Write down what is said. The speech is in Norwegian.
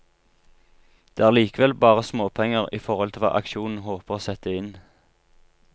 Det er likevel bare småpenger i forhold til hva aksjonen håper å sette inn.